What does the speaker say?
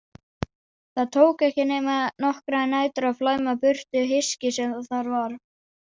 Það tók ekki nema nokkrar nætur að flæma burtu hyskið sem þar var.